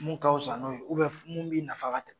Min ka fisa n'o ye mun b'i nafa ka tɛmɛ